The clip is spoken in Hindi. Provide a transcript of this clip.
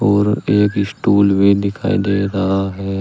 और एक स्टूल भी दिखाई दे रहा है।